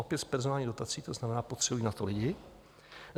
Opět z personálních dotací, to znamená, potřebují na to lidi.